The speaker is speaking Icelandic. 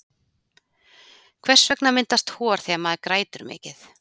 Hvers vegna myndast hor þegar maður grætur mikið?